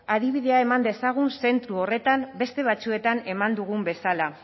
adibidea eman dezagun zentzu horretan beste batzuetan eman dugun bezala